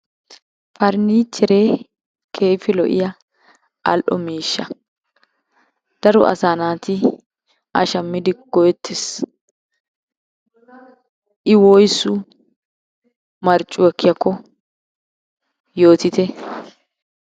Farinichere keehippe lo"iyaa al"o miishsha, daro asaa naati a shammidi go"ettees. I woyssu marccuwa ekkiyaakko yootite.